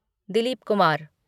Dilip Kumar